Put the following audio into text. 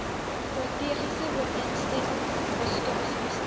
strategiese ooreenstemming prestasiebestuur